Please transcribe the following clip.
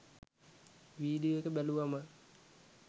video එක බැලුවම